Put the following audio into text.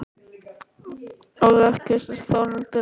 Og ekkert ef Þórhildur er með.